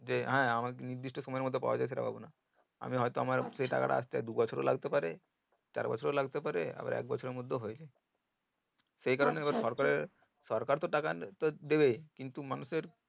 যে হ্যাঁ আমার নির্দিষ্ট সময় মতো পাওয়া যাচ্ছে টাকা গুনা আমি হয়তো আমার সেই টাকাটা আস্তে দুই বছর ও লাগতে পারে চার বছর ও লাগতে পারে আবার এক বছর এর মধ্যে ও হয়ে যাই সরকার তো টাকা দেবেই কিন্তু মানুষ এর